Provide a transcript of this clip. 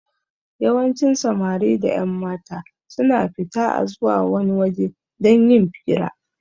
Yawancin Samari da ƴanmata suna fita a zuwa wani waje don yin fira